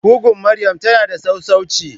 Kugun maryam tana da sassauci.